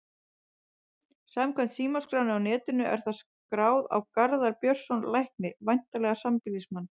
Samkvæmt símaskránni á netinu er það skráð á Garðar Björnsson lækni, væntanlega sambýlismann